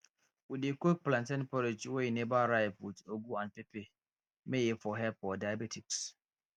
we dey cook plantain porridge wey never ripe with ugu and pepper may e for help for diabetics